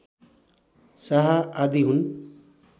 शाह आदि हुन्